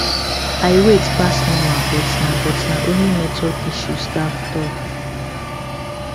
i wait pass normal but na but na only network issue staff talk